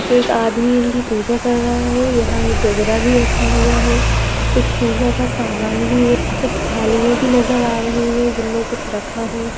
एक आदमी इनकी पूजा कर रहा है यहाँ एक गगरा भी रखा हुआ है कुछ पूजा का सामान भी है कुछ थालियाँ भी नज़र आ रही हैं जिनमें कुछ रखा है।